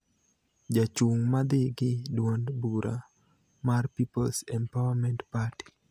jachung' ma dhi gi duond bura mar People's Empowerment Party.